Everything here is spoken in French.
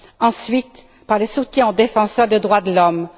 Ensuite, par le soutien aux défenseurs des droits de l'homme.